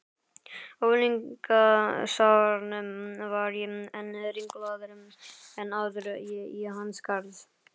unglingsárunum varð ég enn ringlaðri en áður í hans garð.